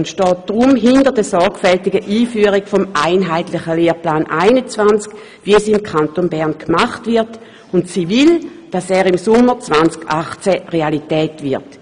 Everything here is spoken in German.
Sie steht deshalb hinter der sorgfältigen Einführung des einheitlichen Lehrplans 21, wie sie im Kanton Bern vorgenommen wird, und sie will, dass dieser Lehrplan im Sommer 2018 Realität wird.